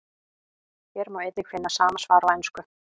Hér má einnig finna sama svar á ensku.